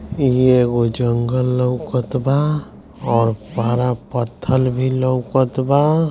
ये एगो जंगल लोकत बा और बड़ा पत्थर भी लोकत बा |